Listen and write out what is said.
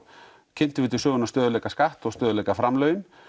kynntum við til sögunnar stöðugleikaskatt og stöðugleikaframlögin